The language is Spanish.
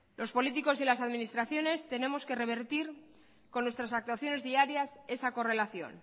los políticos y las administraciones tenemos que revertir con nuestras actuaciones diarias esa correlación